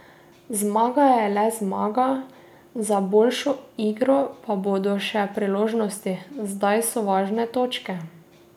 Zmaga je le zmaga, za boljšo igro pa bodo še priložnosti, zdaj so važne točke.